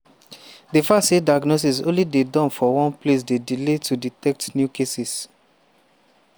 di fact say diagnosis only dey done for one place dey delay to detect new cases.